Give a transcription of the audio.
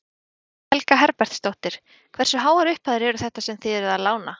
Guðný Helga Herbertsdóttir: Hversu háar upphæðir eru þetta sem þið eruð að lána?